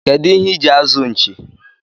kedụ ihe iji azụ nchi?